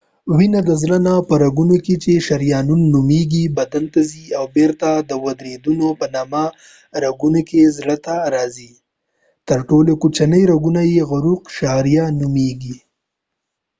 وينه د زړه نه په رګونو کې چې شریانونه نومیږی بدن ته ځی او بیرته د ورديدونو په نامه رګونو کې زړه ته راځی تر ټولو کوچنی رګونه یې عروق شعریه نومېږي